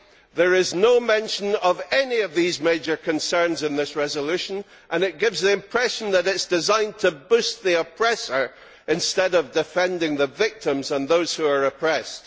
There is no mention of any of these major concerns in this resolution and it gives the impression that it is designed to boost the oppressor instead of defending the victims and those who are oppressed.